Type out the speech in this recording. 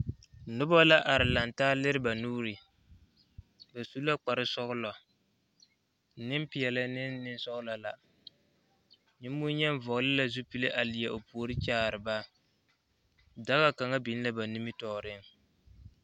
Noba laare laŋe taa leri ba nuuri, ba su la kparre sɔglɔ nenpɛɛl ne nensɔglɔ la Nen bonyen vɔgeli la zupili a leɛ o puori kyaare ba daga kaŋa biŋ la ba nimitɔreŋ.